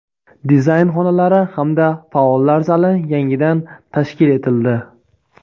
dizayn xonalari hamda faollar zali yangidan tashkil etildi.